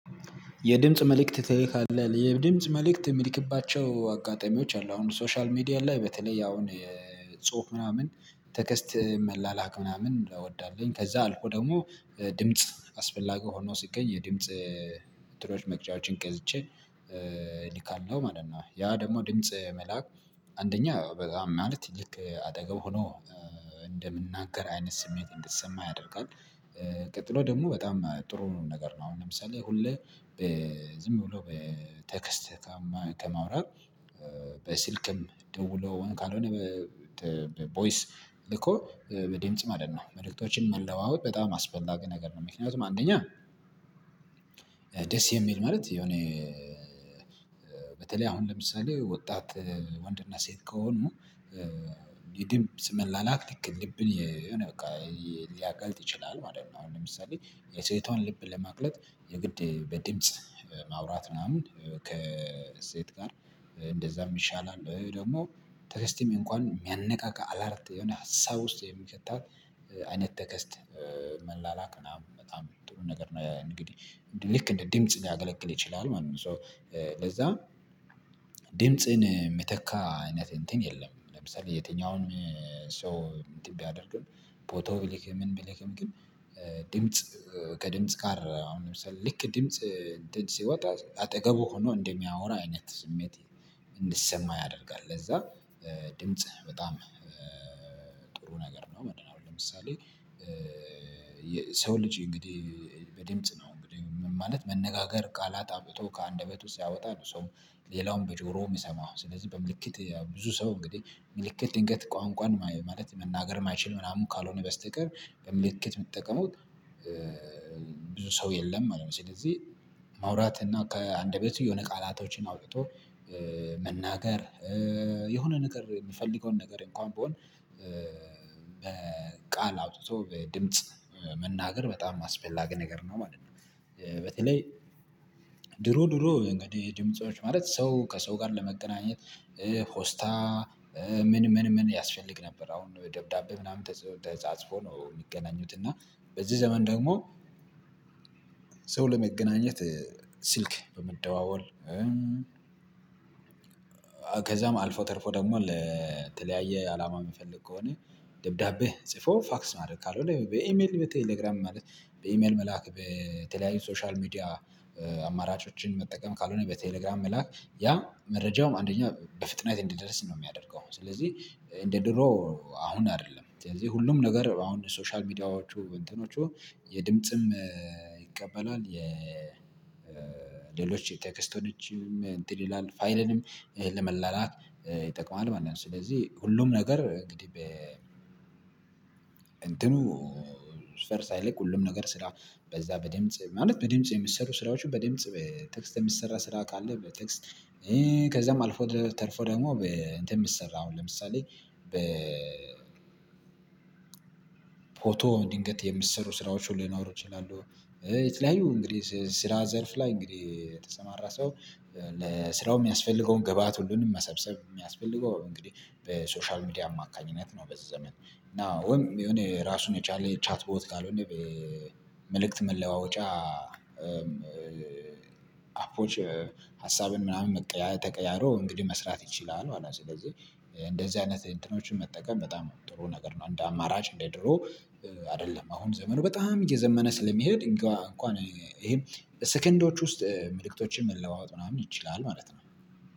የድምጽ መልእክት ትልካለህ? የድምጽ መልእክት ምልክባቸው አጋጣሚዎች አሉ አሁን ሶሻል ሚዲያ ላይ በተለይ ያው ጽሁፍ ምናምን ቴክስት መላላክ ምናምን እወዳለሁኝ ከዛ አልፎ ደግሞ ድምጽ አስፈላጊ ሆኖ ሲገኝ የድምጽ ጥሪዎች መቅጃዎችን ገዝቼ ኒካል ነው ማለት ነው ያ ደግሞ ድምጽ መላክ አንደኛ በጣም ማለት ልክ አጠገብ ሆኖ እንደምንናገር አይነት ስሜት እንዲሰማ ያደርጋል። ቀጥሎ ደግሞ በጣም ጥሩ ነገር ነው አሁን ለምሳሌ ሁሌ ዝም ብሎ ቴክስት ከማውራት በስልክም ደውሎን ካልሆነ ቮይስ ልኮ በድምጽ ማለት ነው መልእክቶችን መለዋወጥ በጣም አስበላ ግን ነገር ነው ምክንያቱም አንደኛ ደስ የሚል ማለት የሆነ በተለይ አሁን ለምሳሌ ወጣት ወንድና ሴት ከሆኑ የድምጽ መመላላክ ልክ ልብን የሆነ በቃ ሊያቀልጥ ይችላል ማለት ነው አሁን ለምሳሌ የሴቷን ልብ ለማቅለጥ የግድ በድምጽ ማውራት ምናምን ከሴት ጋር እንደዛ ይሻላል ወይ ደግሞ ቴክስትም እንኳን ሚያነቃቃ አላርት የሆነ ሀሳብ ውስጥ የሚከታት አይነት ቴክስት መላላክ ምናምን በጣም ጥሩ ነገር ነው እንግዲህ ልክ እንደ ድምጽ ሊያገለግል ይችላል ማለት ነው ሶ ለዛ ድምጽን ሚተካ አይነት እንትን የለም ለምሳሌ የትኛውንም ሰው እንትን ቢያደርግም ፎቶ ቢልክም ምን ቢልክም ግን ድምጽ ከድምጽ ጋር አሁን ለምሳሌ ልክ ድምጽ እንትን ሲወጣ አጠገቡ ሆኖ እንደሚያወራ አይነት ስሜት እንዲሰማ ያደርጋል ለዛ ድምጽህ በጣም ጥሩ ነገር ነው አሁን ለምሳሌ ሰው ልጅ እንግዲህ በድምጽ ነው እንግዲህ ምን ማለት መነጋገር ቃላት አውጥቶ ከአንደበቱ ሲያወጣ ነው ሰው ሌላውን በጆሮ ሚሰማው ስለዚህ በምልክት ብዙ ሰው እንግዲህ ምልክት ድንገት ቋንቋን ማለት መናገር ማይችል ምናምን ካልሆነ በስተቀር በምልኬት ሚጠቀሙት ብዙ ሰው የለም ማለት ነው። ስለዚህ ማውራት እና ከአንደበት የሆነ ቃላቶችን አውጥቶ መናገር የሆነ ነገር ሚፈልገውን ነገር እንኳን ቢሆን አውጥቶ በድምጽ መናገር በጣም አስፈላጊ ነገር ነው ማለት ነው በተለይ ድሮ ድሮ እንግዲህ ድምጾች ማለት ሰው ከሰው ጋር ለመገናኘት ፖስታ ምን ምን ምን ያስፈልግ ነበር አሁን ደብዳቤ ምናምን ተጻጽፎ ነው ሚገናኙት እና በዚህ ዘመን ደግሞ ሰው ለመገናኘት ስልክ በመደዋወል ከዛም አልፎ ተርፎ ደግሞ ለተለያየ አላማ ሚፈልግ ከሆነ ደብዳቤ ጽፎ ፋክስ ማድረግ ካልሆነ በኢሜል በቴሌግራም ማለት በኢሜል መላክ በተለያዩ ሶሻል ሚዲያ አማራጮችን መጠቀም ካልሆነ በቴሌግራም መላክ ያ መረጃውም አንደኛ በፍጥነት እንደደረስን ነው የሚያደርገው ስለዚህ እንደ ድሮ አሁን አይደለም ስለዚህ ሁሉም ነገር አሁን ሶሻል ሚዲያዎቹ እንትኖቹ የድምጽም ይቀበላል የ ሌሎች ቴክስቶችንም እንትን ይላል ፋይልንም ለመላላት ይጠቅማል ማለት ነው ስለዚህ ሁሉም ነገር እንግዲህ እንትኑ ስር ሳይለቅ ሁሉም ነገር ስራ በዛ በደምፅ ማለት በደምፅ የሚሰሩ ስራዎችን በደምፅ ቴክስት የሚሰራ ስራ ካለ በቴክስት ከዛም አልፎ ተርፎ ደግሞ እንትን ምሰራ አሁን ለምሳሌ በ ፎቶ ድንገት የሚሰሩ ስራዎች ሊኖሩ ይችላሉ የተለያዩ እንግዲህ ስራ ዘርፍ ላይ እንግዲህ የተሰማራ ሰው ለስራው የሚያስፈልገውን ግብአት ሁሉንም መሰብሰብ የሚያስፈልገው እንግዲህ በሶሻል ሚዲያ አማካኝነት ነው በዚ ዘመን እና ወይም የሆነ ራሱን የቻለ ቻት ቦት ካልሆነ መልእክት መለዋወጫ አፖች ሀሳብን ምናምን ተቀያይሮ እንግዲህ መስራት ይችላል መለት ነው። ስለዚህ እንደዚህ አይነት እንትኖችን መጠቀም በጣም ጥሩ ነገር ነው እንደ አማራጭ እንደ ድሮ አይደለም አሁን ዘመኑ በጣም እየዘመነ ስለሚሄድ እንኳን ይሄን ሰከንዶች ውስጥ መልእክቶችን መለዋወጥ ምናምን ይችላል ማለት ነው።